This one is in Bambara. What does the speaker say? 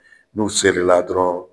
N'u sere la dɔrɔnw.